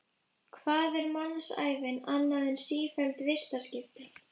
Hvað er mannsævin annað en sífelld vistaskipti?